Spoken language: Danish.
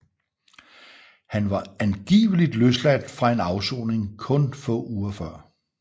Han var angiveligt løsladt fra en afsoning kun få uger før